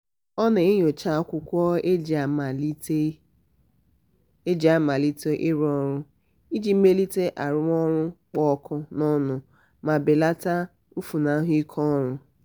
ọ na-enyocha akwụkwọ e ji amalite e ji amalite ịrụ ọrụ iji melite arụmọrụ kpụ ọkụ n'ọnụ ma belata mfunahụ ike ọrụ.